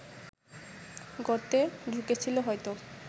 গর্তে ঢুকেছিল হয়তো